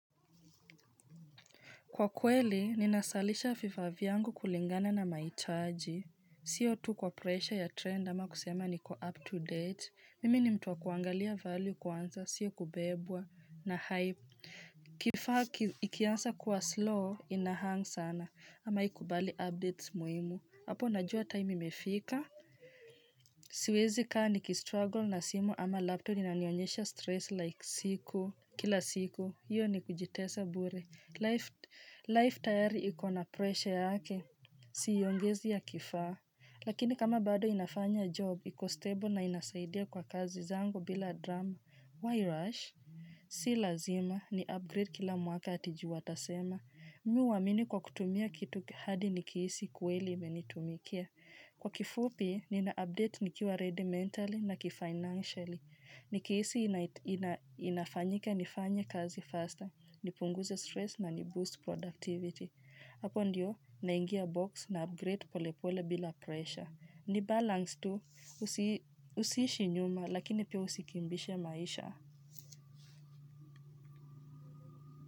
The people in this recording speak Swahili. Kwa kweli, ninasalisha vifa vyangu kulingana na maitaaji. Siyo tu kwa pressure ya trend ama kusema niko up to date. Mimi ni mtu wa kuangalia value kwanza, sio kubebwa na hype. Kifaa ikiansa kuwa slow, inahang sana ama ikubali updates muimu. Hapo najua time imefika. Siwezi kaa nikistruggle na simu ama laptop inanionyesha stress like siku. Kila siku, hiyo ni kujitesa bure. Life tayari iko na presha yake. Siiongezi ya kifaa. Lakini kama bado inafanya job, iko stable na inasaidia kwa kazi zangu bila drama. Why rush? Si lazima, ni upgrade kila mwaka ati ju watasema. Mi uwamini kwa kutumia kitu hadi nikiisi kweli imenitumikia. Kwa kifupi, ninaupdate nikiwa ready mentally na kifinancially. Nikiisi inafanyika nifanye kazi faster, nipunguze stress na niboost productivity. Hapo ndio, naingia box na upgrade polepole bila pressure. Ni balance tu, usiishi nyuma lakini pia usikimbishe maisha.